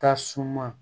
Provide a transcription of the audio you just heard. Tasuma